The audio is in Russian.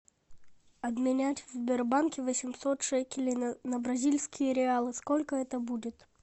обменять в сбербанке восемьсот шекелей на бразильские реалы сколько это будет